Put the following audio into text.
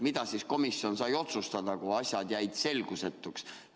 Mida siis komisjon sai otsustada, kui asjad jäid selgusetuks?